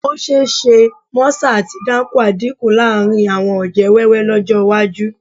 Ó ṣe é ṣe mọ́sà àti dáńkúà dínkù láàrin àwọn ọ̀jẹ̀ wẹ́wẹ́ lọ́jọ́ iwájú